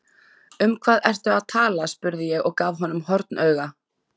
Um hvað ertu að tala spurði ég og gaf honum hornauga.